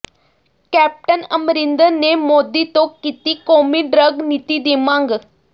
captain Amarinder ਨੇ ਮੋਦੀ ਤੋਂ ਕੀਤੀ ਕੌਮੀ ਡਰੱਗ ਨੀਤੀ ਦੀ ਮੰਗ